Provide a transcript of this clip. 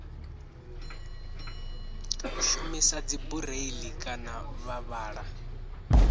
shumisa dzibureiḽi kana vha vhala